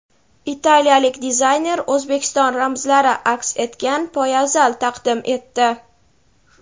Italiyalik dizayner O‘zbekiston ramzlari aks etgan poyabzal taqdim etdi.